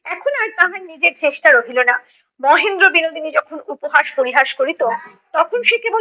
এখন আর তাহার নিজের চেষ্টা রহিলো না। মহেন্দ্র বিনোদিনী যখন উপহাস পরিহাস করিতো তখন সে কেবল